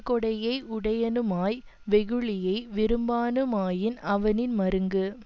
கொடையை உடையனுமாய் வெகுளியை விரும்பானுமாயின் அவனின் மருங்கு